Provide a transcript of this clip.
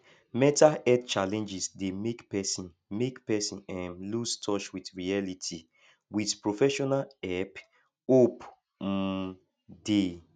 mental health challenges dey make person make person um loose touch with reality with professional help hope um dey